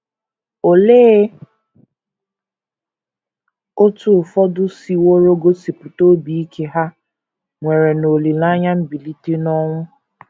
Olee otú ụfọdụ siworo gosipụta obi ike ha nwere n’olileanya mbilite n’ọnwụ?